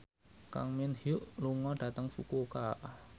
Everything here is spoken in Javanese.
Kang Min Hyuk lunga dhateng Fukuoka